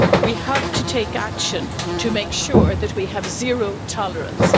We have to take action to make sure that we have zero tolerance.